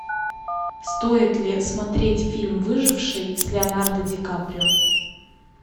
стоит ли смотреть фильм выживший с леонардо ди каприо